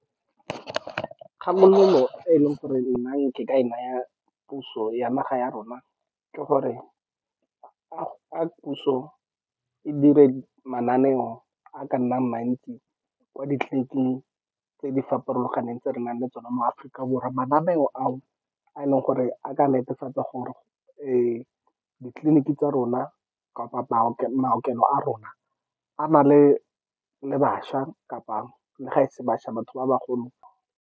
Kgakololo e e leng gore nna ke ka e naya puso ya naga ya rona ke gore a puso e dire mananeo a a ka nnang mantsi kwa ditleliniking tse di farologaneng, tse re nang le tsona mo Aforika Borwa. Mananeo ao a e leng gore a ka netefatsa gore ditleliniki tsa rona kapa maokelo a rona a na le bašwa kapa le ga e se bašwa, batho ba bagolo.